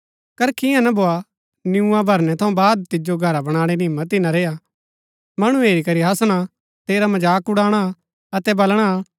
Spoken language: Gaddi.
करखि ईयां ना भोआ कि नियुआं भरनै थऊँ बाद तिजो घरा बणाणै री हिम्मत ही ना रेआ मणु हेरी करी हासणा तेरा मजाक उड़ाणा अतै बलणा